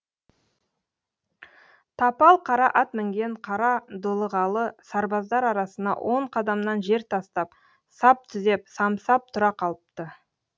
тапал қара ат мінген қара дулығалы сарбаздар арасына он қадамнан жер тастап сап түзеп самсап тұра қалыпты